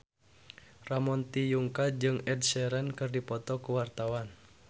Ramon T. Yungka jeung Ed Sheeran keur dipoto ku wartawan